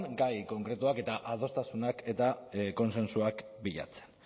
gai konkretuak eta adostasunak eta kontsentsuak bilatzen